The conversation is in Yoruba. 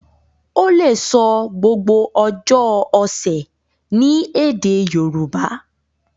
o le so gbogbo ojó ọsẹ ní èdè Yorùbá.